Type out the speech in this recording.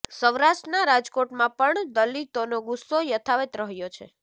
સૌરાષ્ટ્રના રાજકોટમાં પણ દલિતોનો ગુસ્સો યથાવત રહ્યો છે